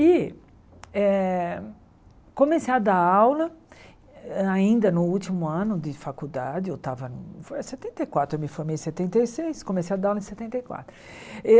E eh comecei a dar aula ainda no último ano de faculdade, eu estava foi setenta e quatro, eu me formei em setenta e seis, comecei a dar aula em setenta quatro.